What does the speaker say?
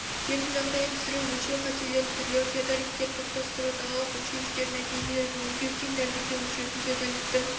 жердің жағдайын түсіру өлшеу қателерінің түрлері теодолиттерді топтастыру далалық өлшеушілердің нәтижелерін өңдеу тең дәлдікті өлшеулер теодолиттің